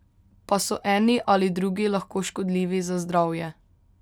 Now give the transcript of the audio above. Pa so eni ali drugi lahko škodljivi za zdravje?